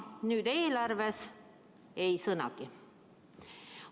Nüüd eelarves ei sõnagi.